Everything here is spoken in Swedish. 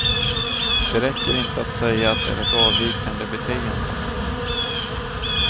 Det räcker inte att säga att det är ett avvikande beteende.